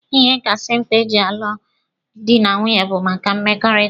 Ihe kachasị mkpa eji alụ dị na nwunye bụ maka mmekọrịta.